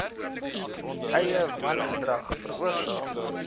eie wangedrag veroorsaak